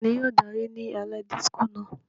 Tani yóò daari ni alẹ Disiko náà?